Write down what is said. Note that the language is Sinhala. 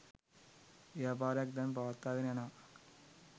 ව්‍යාපාරයක් දැන් පවත්වාගෙන යනවා.